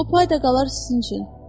O pay da qalar sizin üçün.